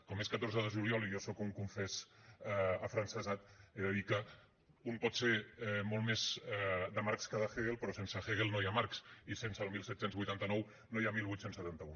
com és catorze de juliol i jo sóc un confés afrancesat he de dir que un pot ser molt més de marx que de hegel però sense hegel no hi ha marx i sense el disset vuitanta nou no hi ha divuit setanta u